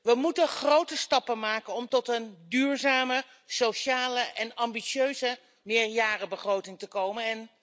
We moeten grote stappen maken om tot een duurzame, sociale en ambitieuze meerjarenbegroting te komen.